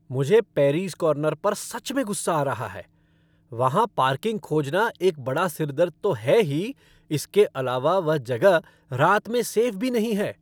मुझे पैरीज़ कॉर्नर पर सच में गुस्सा आ रहा है। वहाँ पार्किंग खोजना एक बड़ा सिर दर्द तो है ही, इसके अलावा वह जगह रात में सेफ़ भी नहीं है।